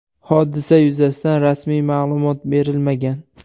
Hodisa yuzasidan rasmiy ma’lumot berilmagan.